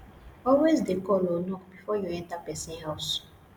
alway de call or knock before you enter person house